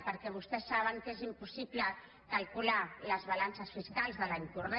perquè vostès saben que és impossible calcular les balances fiscals de l’any corrent